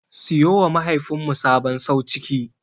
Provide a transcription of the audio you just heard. Siyowa mahaifinmu sabon sauciki.